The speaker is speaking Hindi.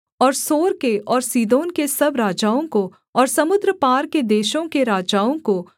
और सोर के और सीदोन के सब राजाओं को और समुद्र पार के देशों के राजाओं को